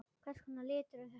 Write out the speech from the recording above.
Hvers konar litur er þetta?